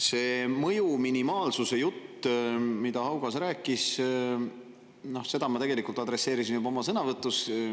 See mõju minimaalsuse jutt, mida Haugas rääkis, ma tegelikult adresseerisin juba oma sõnavõtus.